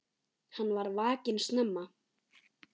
Hann var vakinn snemma.